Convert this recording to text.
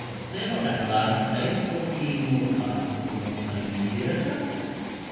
Sidee loo dhaxlaa dystrophy muruqa oculoparyngealka?